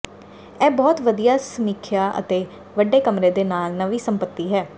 ਇਹ ਬਹੁਤ ਵਧੀਆ ਸਮੀਖਿਆ ਅਤੇ ਵੱਡੇ ਕਮਰੇ ਦੇ ਨਾਲ ਨਵੀਂ ਸੰਪਤੀ ਹੈ